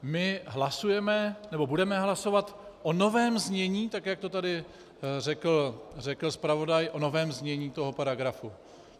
My hlasujeme, nebo budeme hlasovat o novém znění, tak jak to tady řekl zpravodaj, o novém znění toho paragrafu.